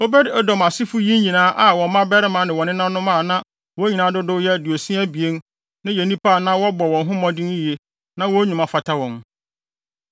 Obed-Edom asefo yi nyinaa a wɔn mmabarima ne wɔn nenanom a na wɔn nyinaa dodow yɛ aduosia abien (62) no yɛ nnipa a na wɔbɔ wɔn ho mmɔden yiye na wɔn nnwuma fata wɔn.